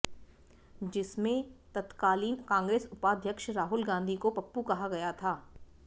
जिसमें तत्कालीन कांग्रेस उपाध्यक्ष राहुल गांधी को पप्पू कहा गया था